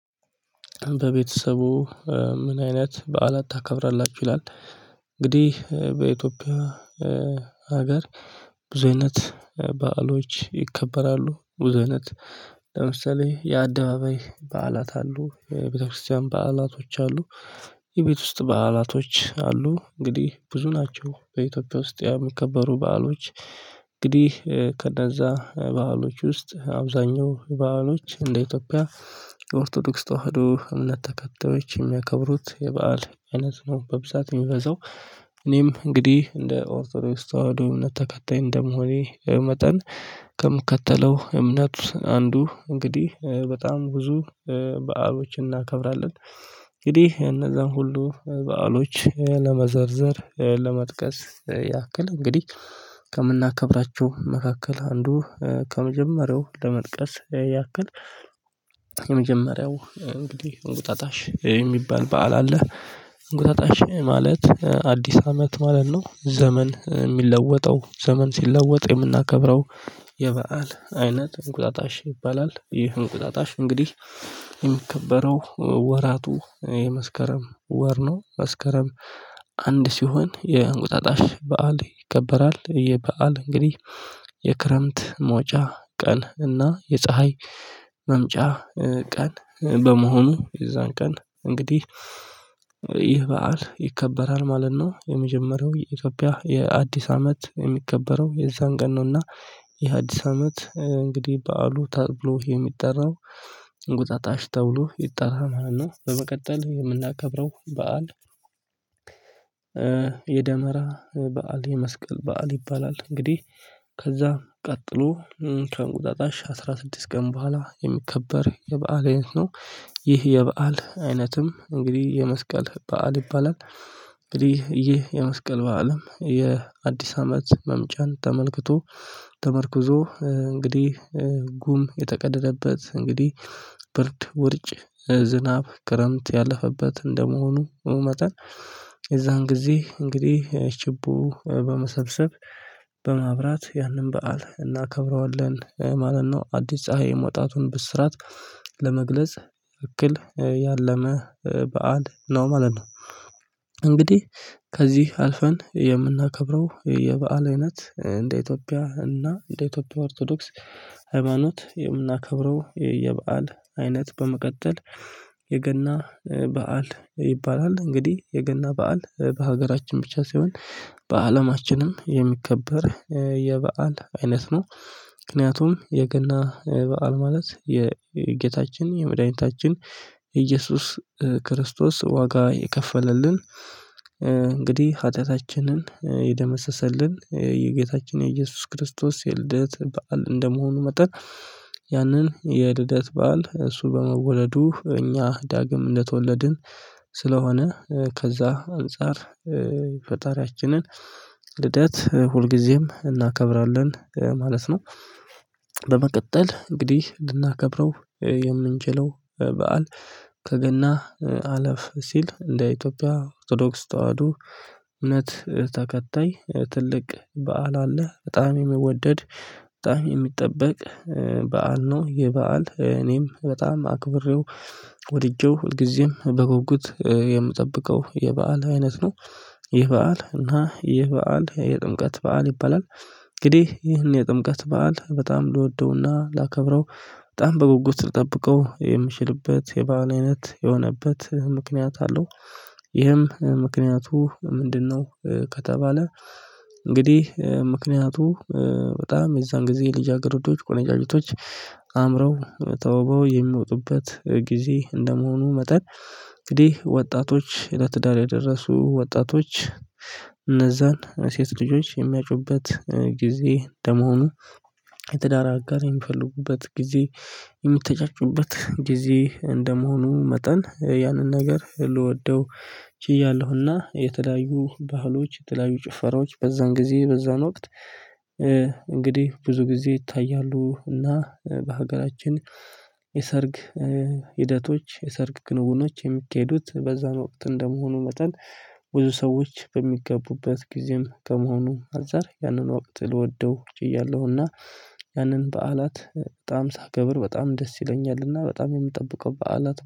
በቤተሰቡ ምን አይነት በዓላት ታከብራላችሁ ይላል? እንግዲህ በኢትዮጵያ ሀገር ብዙ አይነት በዓሎች ይከበራሉ ብዙ አይነት ለምሳሌ የአደባባይ በዓላት አሉ የቤተክርስቲያን በዓላቶች አሉ። የቤት ውስጥ በዓላቶች አሉ እንግዲህ ብዙ ናቸው በኢትዮጵያ ውስጥ የሚከበሩ በዓሎች። እንግዲህ ከነዛ በዓሎች ውስጥ አብዛኛው በዓሎች እንደ ኢትዮጵያ የኦርቶዶክስ ተዋህዶ እምነት ተከታዮች የሚያከብሩት የበአል አይነት ነው በብዛት የሚበዛው። እኔም እንግዲህ እንደ ኦርቶዶክስ ተዋህዶ እምነት ተከታይ እንደመሆኔ መጠን ከምከተለው እምነት አንዱ እንግዲህ በጣም ብዙ በዓሎችን እናከብራለን። እንግዲህ እነዛን ሁሉ በዓሎች ለመዘርዘር ለመጥቀስ ያክል እንግዲህ ከምናከብራቸው መካከል አንዱ ከመጀመሪያው ለመጥቀስ ያክል። የመጀመሪያው እንግዲህ እንቁጣጣሽ የሚባል በዓል አለ። እንቁጣጣሽ ማለት አዲስ አመት ማለት ነው። ዘመን የሚለወጠው ዘመን ሲለወጥ የምናከብረው የበአል አይነት እንቁጣጣሽ ይባላል። ይህ እንቁጣጣሽ እንግዲህ የሚከበረው ወራቱ የመስከረም ወር ነው መስከረም አንድ ሲሆን የእንቁጣጣሽ በዓል ይከበራል። ይህ በዓል እንግዲህ የክረምት መውጫ ቀን እና የፀሀይ መምጫ ቀን በመሆኑ የዛን ቀን እንግዲህ ይህ በዓል ይከበራል ማለት ነው። የመጀመሪያው የኢትዮጵያ የአዲስ አመት የሚከበረው የዛን ቀን ነውና ይህ አዲስ አመት እንግዲህ በዓሉ ተብሎ የሚጠራው እንቁጣጣሽ ተብሎ ይጠራ ማለት ነው። በመቀጠል የምናከብረው በዓል። የደመራ በዓል የመስቀል በዓል ይባላል እንግዲህ ከዛ ቀጥሎ ከእንቁጣጣሽ አስራ ስድስት ቀን በኋላ የሚከበር የበአል አይነት ነው። ይህ የበአል አይነትም እንግዲህ የመስቀል በዓል ይባላል። እንግዲህ ይህ የመስቀል በዓልም የአዲስ አመት መምጫን ተመልክቶ ተመርኩዞ እንግዲህ ጉም የተቀደደበት እንግዲህ ብርድ ውርጭ ዝናብ ክረምት ያለፈበት እንደመሆኑ መጠን። የዛን ጊዜ እንግዲህ ችቦ በመሰብሰብ በማብራት ያንን በዓል እናከብረዋለን ማለት ነው። አዲስ ፀሀይ መውጣቱን ብስራት ለመግለጽ እክል ያለመ በዓል ነው ማለት ነው። እንግዲህ ከዚህ አልፈን የምናከብረው የበአል አይነት እንደ ኢትዮጵያ እና እንደ ኢትዮጵያ ኦርቶዶክስ ሃይማኖት የምናከብረው የበአል አይነት በመቀጠል የገና በዓል ይባላል እንግዲህ የገና በዓል በሀገራችን ብቻ ሳይሆን በአለማችንም የሚከበር የበአል አይነት ነው። ምክንያቱም የገና በዓል ማለት የጌታችን የመድኃኒታችን ኢየሱስ ክርስቶስ ዋጋ የከፈለልን እንግዲህ ሀጢያታችንን የደመሰሰልን የጌታችን የኢየሱስ ክርስቶስ የልደት በዓል እንደመሆኑ መጠን። ያንን የልደት በዓል እሱ በመወለዱ እኛ ዳግም እንደተወለድን ስለሆነ ከዛ አንፃር ፈጣሪያችንን ልደት ሁልጊዜም እናከብራለን ማለት ነው። በመቀጠል እንግዲህ ልናከብረው የምንችለው በዓል ከገና አለፍ ሲል እንደ ኢትዮጵያ ኦርቶዶክስ ተዋህዶ እምነት ተከታይ ትልቅ በዓል አለ በጣም የሚወደድ በጣም የሚጠበቅ በዓል ነው። ይህ በዓል እኔም በጣም አክብሬው ወድጄው ሁልጊዜም በጉጉት የምጠብቀው የበአል አይነት ነው። ይህ በዓል እና ይህ በዓል የጥምቀት በዓል ይባላል። እንግዲህ ይህን የጥምቀት በዓል በጣም ልወደውና ላከብረው በጣም በጉጉት ልጠብቀው የምችልበት የበአል አይነት የሆነበት ምክንያት አለው። ይህም ምክንያቱ ምንድነው? ከተባለ እንግዲህ ምክንያቱ በጣም የዛን ጊዜ ልጅ አገረዶች ቆነጃጅቶች አምረው ተውበው የሚወጡበት ጊዜ እንደመሆኑ መጠን እንግዲህ ወጣቶች ለትዳር የደረሱ ወጣቶች እነዛን ሴት ልጆች የሚያጩበት ጊዜ እንደመሆኑ የትዳር አጋር የሚፈልጉበት ጊዜ። የሚተጫጩበት ጊዜ እንደመሆኑ መጠን ያንን ነገር ልወደው ችያለሁና የተለያዩ ባህሎች የተለያዩ ጭፈራዎች በዛን ጊዜ በዛን ወቅት እንግዲህ ብዙ ጊዜ ይታያሉ እና በሀገራችን የሰርግ ሂደቶች የሰርግ ክንውኖች የሚካሄዱት በዛን ወቅት እንደመሆኑ መጠን። ብዙ ሰዎች በሚጋቡበት ጊዜም ከመሆኑ አንፃር ያንን ወቅት ልወደውችያለሁና ያንን በዓላት በጣም ሳከብር በጣም ደስ ይለኛልና በጣም የምጠብቀው በዓላት